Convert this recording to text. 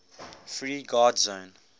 free guard zone